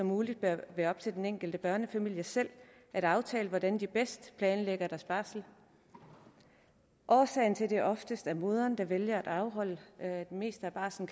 muligt bør være op til den enkelte børnefamilie selv at aftale hvordan de bedst planlægger deres barsel årsagen til at det oftest er moderen der vælger at afholde det meste af barslen